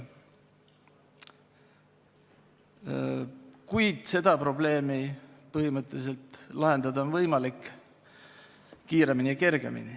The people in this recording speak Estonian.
Kuid seda probleemi on põhimõtteliselt võimalik lahendada kiiremini ja kergemini.